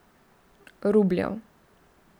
Rubljev.